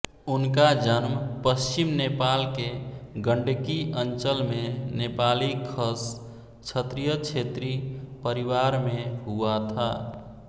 उनका जन्म पश्चिम नेपाल के गण्डकी अंचलमें नेपाली खस क्षत्रिय क्षेत्री परिवारमें हुआ था